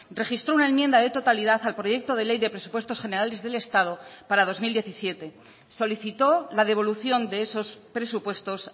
registró una enmienda de totalidad al proyecto de ley de presupuestos generales del estado para dos mil diecisiete solicitó la devolución de esos presupuestos